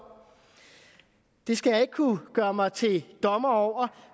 det skal jeg ikke kunne gøre mig til dommer over